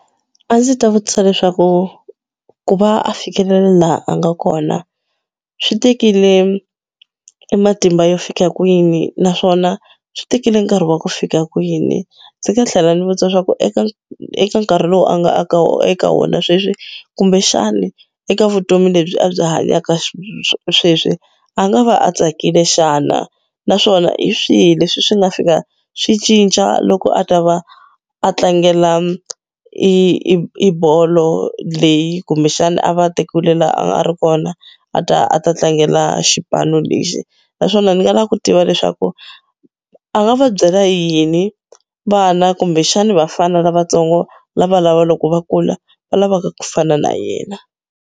A ndzi ta vutisa leswaku ku va a fikelela laha a nga kona swi tekile matimba yo fika kwini naswona swi tekile nkarhi wa ku fika kwini, ndzi nga tlhela ndzi vutisa swa ku eka eka nkarhi lowu a nga aka eka wona sweswi kumbexani eka vutomi lebyi a byi hanyaka sweswi a nga va a tsakile xana naswona hi swihi leswi swi nga fika swi cinca loko a ta va a tlangela i i bolo leyi kumbexana a va a tekiwile laha a ri kona a ta a ta tlangela xipano lexi naswona ni nga lava ku tiva leswaku a nga va byela yini vana kumbexani vafana lavatsongo lava lava loko va kula va lavaka ku fana na yena.